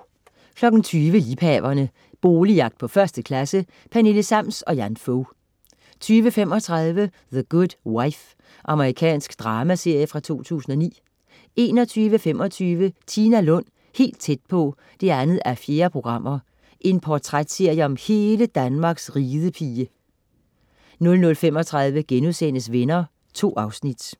20.00 Liebhaverne. Boligjagt på 1. klasse. Pernille Sams og Jan Fog 20.35 The Good Wife. Amerikansk dramaserie fra 2009 21.25 Tina Lund, helt tæt på 2:4. Portrætserie om hele Danmarks ridepige 00.35 Venner* 2 afsnit